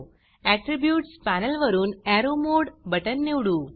attributes panel वरुन arrow mode button निवडू